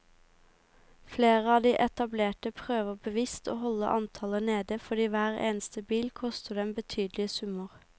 Flere av de etablerte prøver bevisst å holde antallet nede fordi hver eneste bil koster dem betydelige summer.